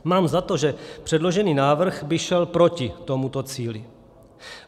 Mám za to, že předložený návrh by šel proti tomuto cíli.